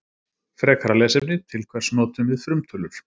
Frekara lesefni Til hvers notum við frumtölur?